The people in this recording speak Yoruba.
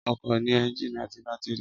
Ọkọ̀ ní ẹ́ńjìnì àti bátírì